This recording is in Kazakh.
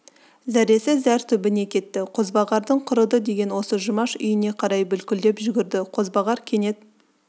зәресі зәр түбіне кетті қозбағардың құрыды деген осы жұмаш үйіне қарай бүлкілдеп жүгірді қозбағар кенет